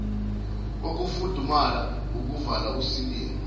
kokufudumala wukuvala usilinga